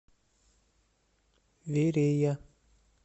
верея